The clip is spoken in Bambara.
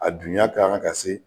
A dunya kan ka se